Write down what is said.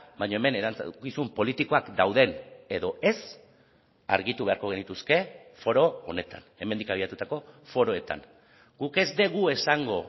baina hemen erantzukizun politikoak dauden edo ez argitu beharko genituzke foro honetan hemendik abiatutako foroetan guk ez dugu esango